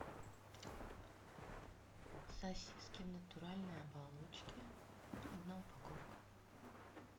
сосиски в натуральной оболочке одна упаковка